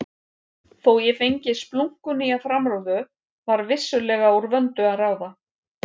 Þó ég fengi splunkunýja framrúðu var vissulega úr vöndu að ráða.